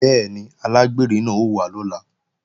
Bẹ́ẹ̀ni, alágbèrè náà ó wá lọ́la